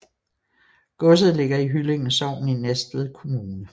Godset ligger i Hyllinge Sogn i Næstved Kommune